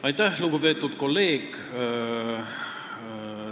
Aitäh, lugupeetud kolleeg!